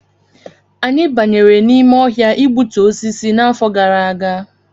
Anyị banyere n'ime ọhịa igbutu osisi n'afọ gara aga